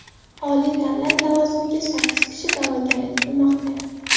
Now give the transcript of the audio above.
Oliy davlat lavozimiga sakkiz kishi da’vogarlik qilmoqda.